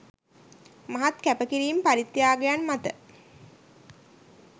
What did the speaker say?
මහත් කැපකිරීම්, පරිත්‍යාගයන් මත